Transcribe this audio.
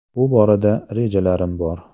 Bu borada rejalarim bor.